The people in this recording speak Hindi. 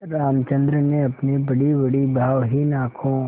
रामचंद्र ने अपनी बड़ीबड़ी भावहीन आँखों